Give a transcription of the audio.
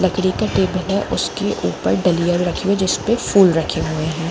लकड़ी का टेबल है उसके ऊपर दलिया रखी है जिसपे फुल रखी है।